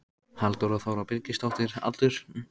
Halldóra Þóra Birgisdóttir Aldur?